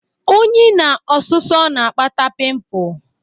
Unyi na ọsụsọ na-akpata pimpụ.